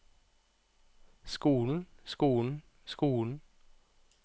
skolen skolen skolen